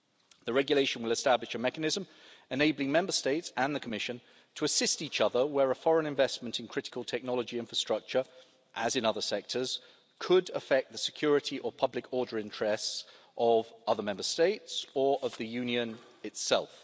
The regulation will establish a mechanism enabling Member States and the Commission to assist each other where a foreign investment in critical technology infrastructure, as in other sectors, could affect the security or public order interests of other Member States or of the Union itself.